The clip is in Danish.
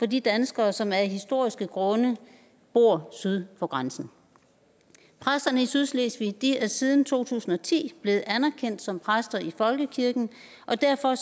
de danskere som af historiske grunde bor syd for grænsen præsterne i sydslesvig er siden to tusind og ti blevet anerkendt som præster i folkekirken og derfor